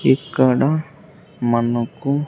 ఇక్కడ మనకు.